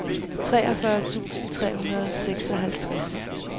treogfyrre tusind tre hundrede og seksoghalvtreds